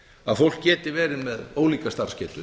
að fólk geti verið með ólíka starfsgetu